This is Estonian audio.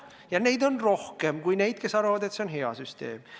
Ja neid on rohkem kui inimesi, kes arvavad, et see on hea süsteem.